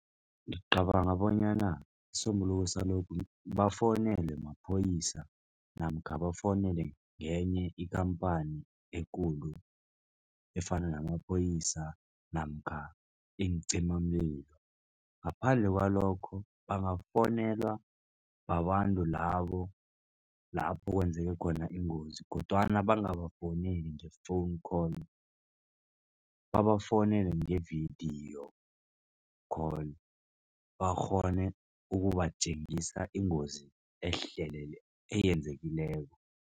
Ngicabanga bonyana isisombululo salokhu bafowunelwe maphoyisa namkha bafowunelwe ngenye ikhamphani ekulu efana namaphoyisa namkha iincimamlilo. Ngaphandle kwalokho, bangafonelwa babantu labo lapho kwenzeke khona ingozi kodwana bangabafowuneli nge-phone call babafuwunele nge-vidiyo call bakghone ukubatjengisa iingozi eyenzekileko.